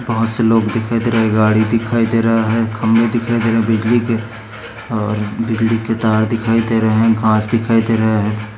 बहुत से लोक दिखाई दे रहे है गाड़ी दिखाई दे रहा है खंभे दिखाई दे रहा है बिजली के और बिजली के तार दिखाई दे रहे है घास दिखाई दे रहे है।